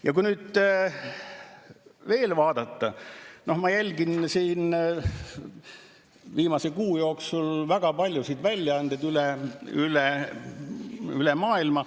Ja kui nüüd veel vaadata, ma olen viimase kuu jooksul jälginud väga paljusid väljaandeid üle maailma.